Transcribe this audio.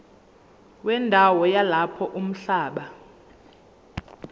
wendawo yalapho umhlaba